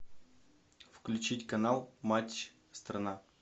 включить канал матч страна